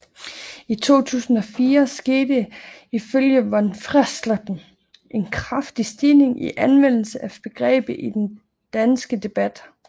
I 2004 skete der ifølge von Freiesleben en kraftig stigning i anvendelsen af begrebet i den danske debat